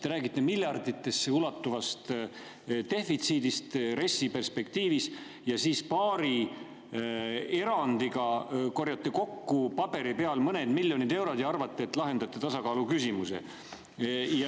Te räägite miljarditesse ulatuvast defitsiidist RES‑i perspektiivis ja siis paari erandiga korjate kokku paberi peal mõned miljonid eurod ja arvate, et lahendate tasakaaluküsimuse.